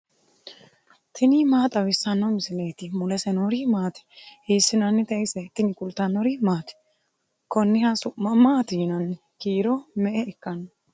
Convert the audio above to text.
tini maa xawissanno misileeti ? mulese noori maati ? hiissinannite ise ? tini kultannori maati? Koniha su'ma maatti yinnanni? Kiiro me'e ikkanno?